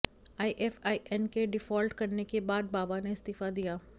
IFIN के default करने के बाद बावा ने इस्तीफा दिया